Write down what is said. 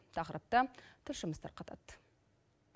тақырыпты тілшіміз тарқатады